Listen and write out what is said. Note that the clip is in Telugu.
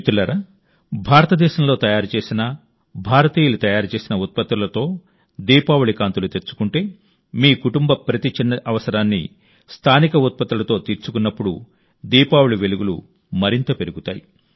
మిత్రులారా భారతదేశంలో తయారు చేసిన భారతీయులు తయారు చేసిన ఉత్పత్తులతో దీపావళి కాంతులు తెచ్చుకుంటే మీ కుటుంబ ప్రతి చిన్న అవసరాన్ని స్థానిక ఉత్పత్తులతో తీర్చుకున్నప్పుడు దీపావళి వెలుగులు మరింత పెరుగుతాయి